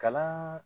Kala